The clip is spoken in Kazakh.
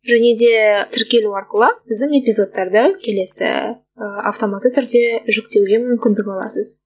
және де тіркелу арқылы біздің эпизодтарды келесі ы автоматты түрде жүктеуге мүмкіндік аласыз